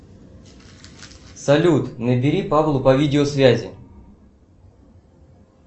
салют набери павлу по видео связи